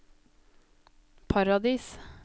Paradis